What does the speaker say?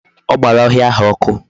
O gbara ohia ahu oku